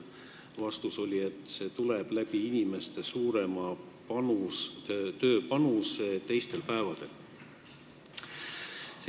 Vastus oli, et see tuleb tagasi inimeste suurema tööpanuse kaudu teistel päevadel.